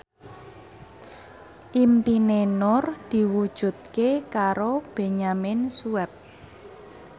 impine Nur diwujudke karo Benyamin Sueb